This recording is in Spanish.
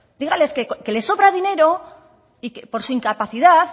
dígales que les sobra dinero y que por su incapacidad